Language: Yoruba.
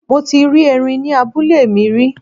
Mo ti rí erin ní abúlé mi rí.